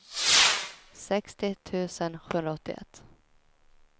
sextio tusen sjuhundraåttioett